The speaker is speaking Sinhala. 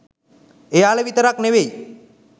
එයාලා විතරක් නෙවෙයි